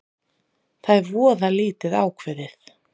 Það er voða lítið ákveðið